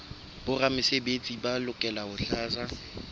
boramesebetsi ba lokela ho tlatsa